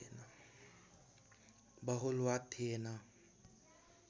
बहुलवाद थिएन